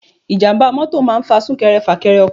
Ijàmbá mọ́tọ̀ máa ń fa sunkẹrẹ fakẹrẹ ọkọ̀.